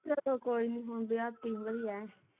ਚੱਲੋ ਕੋਈ ਨਹੀਂ ਮੁੰਡਿਆਂ ਤਿਨੋ ਹੀ ਹੈ।